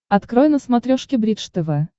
открой на смотрешке бридж тв